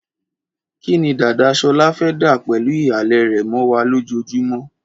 Kí ni dàda Ṣọlá fẹ́ dà pẹ̀lú ìhàlẹ̀ rẹ̀ mọ́ wa lójoojúmọ́?